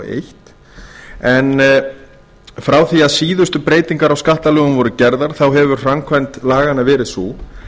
eitt en frá því að síðustu breytingar á skattalögum voru gerðar hefur framkvæmd laganna verið sú